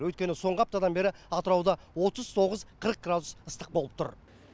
өйткені соңғы аптадан бері атырауда отыз тоғыз қырық градус ыстық болып тұр